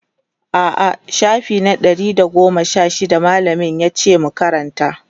a'a shafi na Ɗari da goma Sha shida mallamin yace mu Karanta